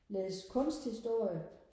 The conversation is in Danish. læse kunsthistorie